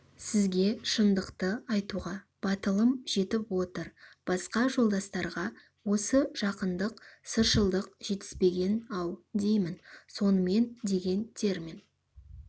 сізге шындықты айтуға батылым жетіп отыр басқа жолдастарға осы жақындық сыршылдық жетіспеген-ау деймін сонымен деген термин